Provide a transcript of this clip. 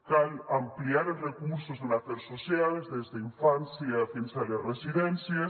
cal ampliar els recursos en afers socials des d’infància fins a les residències